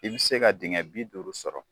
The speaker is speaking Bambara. I bi se ka dingɛ bi duuru sɔrɔ